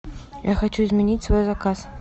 я хочу изменить свой заказ